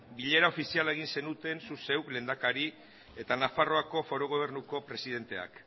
bilera ofiziala egin zenuten zuk zeuk lehendakari eta nafarroako foru gobernuko presidenteak